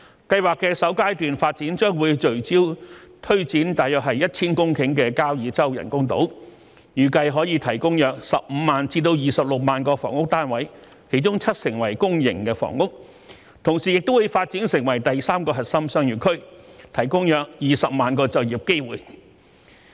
計劃的首階段發展將會聚焦推展約 1,000 公頃的交椅洲人工島，預計可提供約15萬至26萬個房屋單位，當中七成為公營房屋；同時亦會發展成第三個核心商業區，提供約20萬個就業機會。